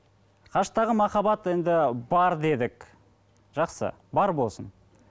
қашықтағы махаббат енді бар дедік жақсы бар болсын